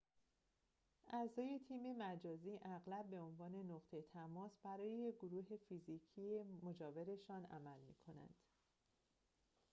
اعضای تیم مجازی اغلب به عنوان نقطه تماس برای گروه فیزیکی مجاورشان عمل می‌کنند